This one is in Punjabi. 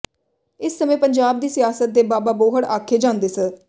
ਇਸ ਸਮੇਂ ਪੰਜਾਬ ਦੀ ਸਿਆਸਤ ਦੇ ਬਾਬਾ ਬੋਹੜ ਆਖੇ ਜਾਂਦੇ ਸ